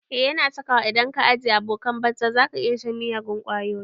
Eh yana saka wa, idan ka ajiye abokanan banza zaka iya shan miyagun ƙwayoyi